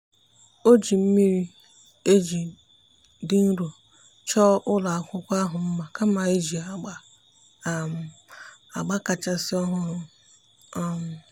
ọ́ jìri mmiri-eji dị nro chọ́ọ́ ụ́lọ́ ákwụ́kwọ́ ahụ́ mma kama iji agba um agba kàchàsị́ ọ́hụ́rụ́. um